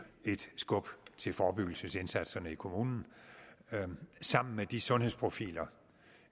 et skub til forebyggelsesindsatserne i kommunerne sammen med de sundhedsprofiler